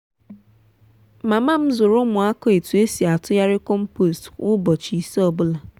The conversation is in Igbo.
mama m zụrụ ụmụaka ētu esi atụgharị compost kwa ụbọchị ise ọ bụla.